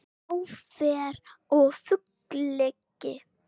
Á ferð og flugi